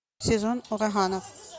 сезон ураганов